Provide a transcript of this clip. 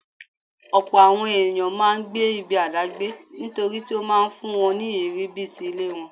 Ọ̀pọ̀ àwọn ẹ̀yàn máa ńgbé ibi àdágbé nítorítí ó máa ńfún wọn ní ìrírí bí ti ilé wọn.